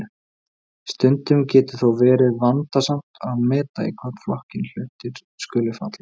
stundum getur þó verið vandasamt að meta í hvorn flokkinn hlutir skuli falla